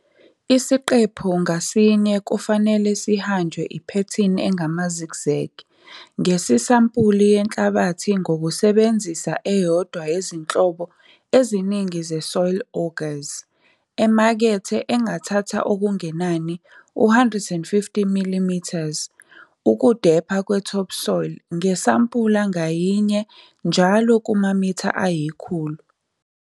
Isiqephu ngasinye kufanele sihanjwe iphethini engama-zigzag ngesisampuli yenhlabathi ngokusebenzisa eyodwa yezinhlobo eziningi ze-soil augurs emakethe engathatha okungenani u-150mm ukudepha kwe-top soil ngesampula ngayinye njalo kumamitha ayikhulu.